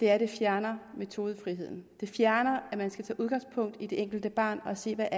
er at det fjerner metodefriheden det fjerner at man skal tage udgangspunkt i det enkelte barn og se hvad